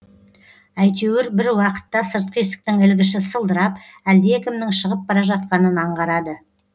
әйтеуір бір уақытта сыртқы есіктің ілгіші сылдырап әлдекімнің шығып бара жатқанын анғарады